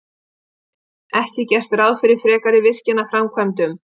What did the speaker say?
Ekki gert ráð fyrir frekari virkjanaframkvæmdum